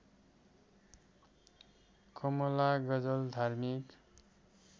कमला गजल धार्मिक